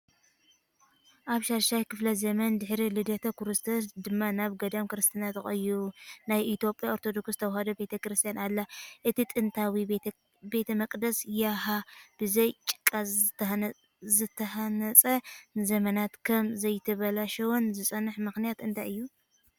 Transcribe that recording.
ኣብ 6ይ ክፍለ ዘመን ድሕሪ ልደተ ክርስቶስ ድማ ናብ ገዳም ክርስትና ተቐይሩ። ናይ ኢትዮጵያ ኦርቶዶክስ ተዋህዶ ቤተክርስትያን ኣላ። እቲ ጥንታዊ ቤተ መቕደስ ያሃ ብዘይ ጭቃ ዝተሃንጸን ንዘመናት ከም ዘይተበላሸወን ዝጸንሐ ምኽንያት እንታይ እዩ?